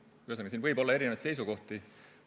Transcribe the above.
Ühesõnaga, siin võib olla erinevaid seisukohti.